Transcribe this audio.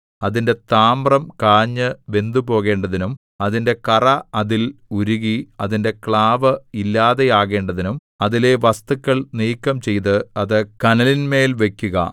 അതിന്റെ താമ്രം കാഞ്ഞു വെന്തുപോകേണ്ടതിനും അതിന്റെ കറ അതിൽ ഉരുകി അതിന്റെ ക്ലാവു ഇല്ലാതെയാകേണ്ടതിനും അതിലെ വസ്തുക്കൾ നീക്കം ചെയ്ത് അത് കനലിന്മേൽ വെക്കുക